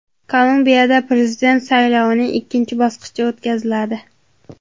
Kolumbiyada prezident saylovining ikkinchi bosqichi o‘tkaziladi.